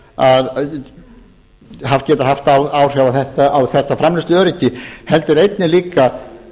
búinn að geta haft áhrif á þetta framleiðsluöryggi heldur einnig líka